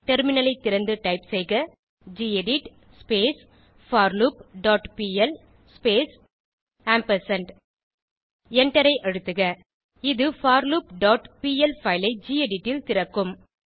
டெர்மினலை திறந்து டைப் செய்க கெடிட் forloopபிஎல் ஸ்பேஸ் எண்டரை அழுத்துக இது forloopபிஎல் பைல் ஐ கெடிட் ல் திறக்கும்